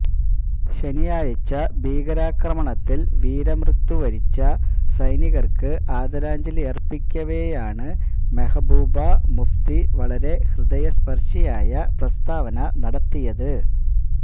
ശനിയാഴ്ച ഭീരാക്രമണത്തില് വീരമൃത്യു വരിച്ച സൈനികര്ക്ക് ആദരാഞ്ജലിയര്പ്പിക്കവേയാണ് മെഹബൂബ മുഫ്തി വളരെ ഹൃദയസ്പര്ശിയായ പ്രസ്താവന നടത്തിയത്